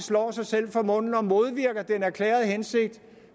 slår sig selv for munden og modvirker den erklærede hensigt